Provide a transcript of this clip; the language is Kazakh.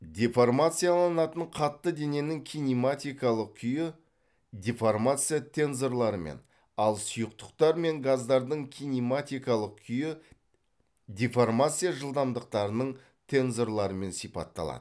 деформацияланатын қатты дененің кинематикалық күйі деформация тензорларымен ал сұйықтықтар мен газдардың кинематикалық күйі деформация жылдамдықтарының тензорларымен сипатталады